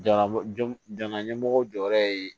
Jamana jo jamana ɲɛmɔgɔw jɔyɔrɔ ye